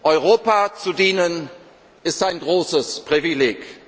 werde. Europa zu dienen, ist ein großes